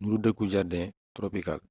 nuru dëkku jardin tropicale